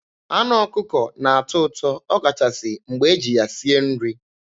Anụ ọkụkọ na-atọ ụtọ ọkachasị mgbe e ji ya sie nri.